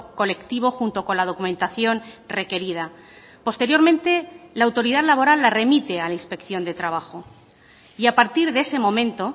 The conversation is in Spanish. colectivo junto con la documentación requerida posteriormente la autoridad laboral la remite a la inspección de trabajo y a partir de ese momento